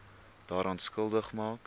daaraan skuldig maak